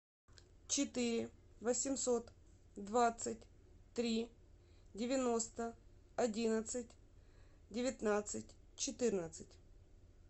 четыре восемьсот двадцать три девяносто одиннадцать девятнадцать четырнадцать